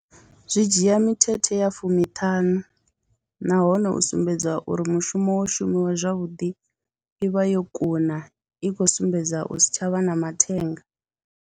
Zwi dzhia mithethe ya fumiṱhanu nahone u sumbedza uri mushumo wo shumiwa zwavhuḓi i vha yo kuna, i khou sumbedza u si tsha vha na mathenga.